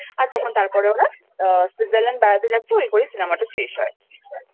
আর তারপর ওরা Switzerlangd বেড়াতে যাচ্ছে ওই করেই Cinemaটা শেষ হয়।